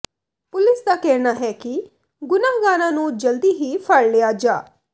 police ਦਾ ਕਹਿਣਾ ਹੈ ਕਿ ਗੁਨਾਹਗਾਰਾਂ ਨੂੰ ਜਲਦੀ ਹੀ ਫੜ ਲਿਆ ਜਾ